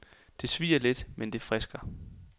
Det svier let, mens det frisker.